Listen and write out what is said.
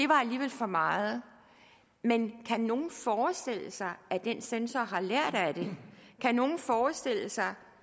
var alligevel for meget men kan nogen forestille sig at den censor har lært af det kan nogen forestille sig